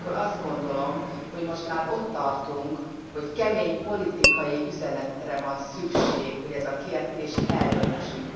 Ugyanakkor azt gondolom, hogy most már ott tartunk, hogy kemény politikai üzenetre van szükség, hogy ezt a kérdést eldöntsük.